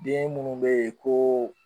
Den munnu be yen ko